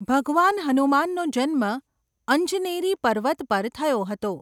ભગવાન હનુમાનનો જન્મ અંજનેરી પર્વત પર થયો હતો.